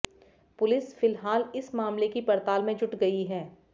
police फिलहाल इस मामले की पड़ताल में जुट गई है